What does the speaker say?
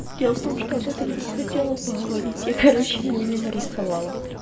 дело в том что об этом я и хотела поговорить я короче его не нарисовала